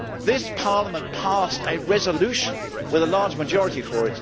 This Parliament passed a resolution with a large majority in favour.